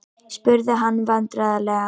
spurði hann vandræðalega.